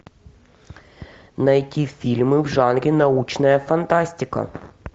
найти фильмы в жанре научная фантастика